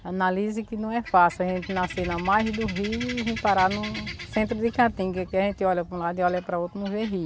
A análise que não é fácil, a gente nascer na margem do rio e parar no centro de, que aqui a gente olha para um lado e olha para outro e não vê rio.